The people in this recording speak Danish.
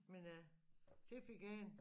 Men øh det fik jeg en